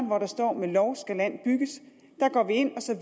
hvor der står at med lov skal land bygges